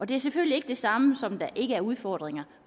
det er selvfølgelig ikke det samme som at der ikke er udfordringer